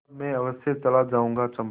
तब मैं अवश्य चला जाऊँगा चंपा